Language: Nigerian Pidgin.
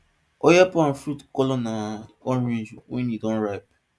oil palm fruits colour na orange wen e don ripe